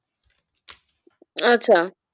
আচ্ছা,